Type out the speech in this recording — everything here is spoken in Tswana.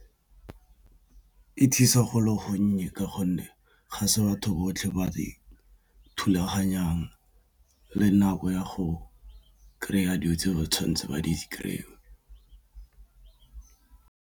E thusa go le gonnye ka gonne ga se batho botlhe ba re thulaganyang le nako ya go kry-a dilo tse tshwantse ba di kry-e.